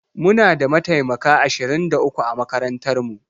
Muna da mataimaka ashirin da uku a makarantar mu